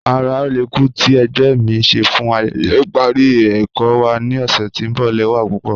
Ara ọlẹ́kù ti ẹ̀gbẹ́ mi n ṣè fún ayẹyẹ iparí ẹkọ wa ni ọṣẹ̀ tí n bọ lẹwa pupọ.